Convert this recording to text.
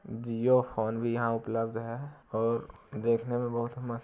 जियो phone भी यहाँ उपलब्ध है और देखने में बहुत मस्त --